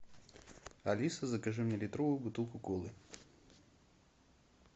алиса закажи мне литровую бутылку колы